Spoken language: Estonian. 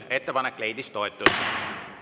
Ettepanek leidis toetust.